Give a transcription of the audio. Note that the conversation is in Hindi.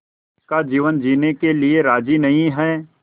का जीवन जीने के लिए राज़ी नहीं हैं